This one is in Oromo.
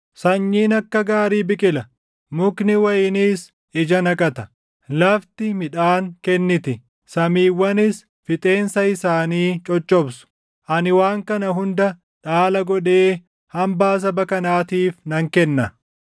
“Sanyiin akka gaarii biqila; mukni wayiniis ija naqata; lafti midhaan kenniti; samiiwwanis fixeensa isaanii coccobsu. Ani waan kana hunda dhaala godhee hambaa saba kanaatiif nan kenna.